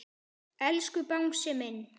Elsku Bangsi minn.